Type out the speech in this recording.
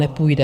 Nepůjde.